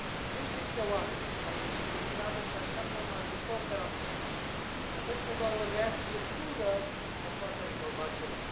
Zeci de mii de oameni au ieșit în stradă și așteaptă un ajutor de la Bruxelles. Mă tem că doar o reacție dură mai poate rezolva ceva.